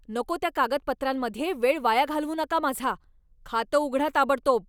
नको त्या कागदपत्रांमध्ये वेळ वाया घालवू नका माझा. खातं उघडा ताबडतोब!